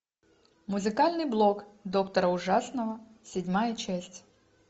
музыкальный блог доктора ужасного седьмая часть